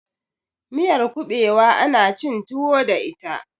miyar kubewa ana cin tuwo da ita